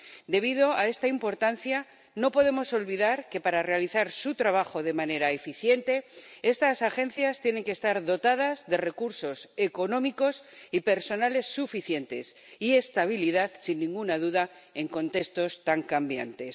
Debido a esta importancia, no podemos olvidar que, para realizar su trabajo de manera eficiente, estas agencias tienen que estar dotadas de recursos económicos y de personal suficientes y de estabilidad, sin ninguna duda, en contextos tan cambiantes.